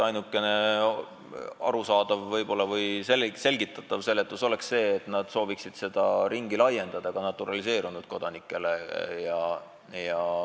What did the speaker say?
Ainuke arusaadav põhjus või selgitus oleks see, et nad sooviksid seda ringi laiendada ka naturaliseerunud kodanikele.